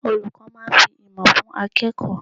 Olùkọ́ máa fi ìmọ̀ fún akẹ́kọ̀ọ́.